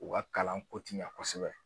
U ka kalan ko ti ɲɛ kosɛbɛ